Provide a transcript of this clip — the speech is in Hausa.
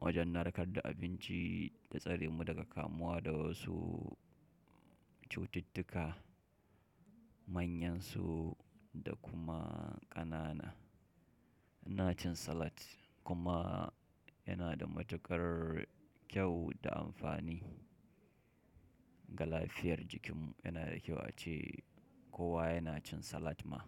Wajen narkar da abinci da tsare mu daga kamuwa da wasu cututtuka manyan su da kuma ƙanana. Ina cin salat kuma yana da matuƙar kyau da amfani ga lafiyar jikinmu. Yana da kyau ace kowa yana cin salat ma.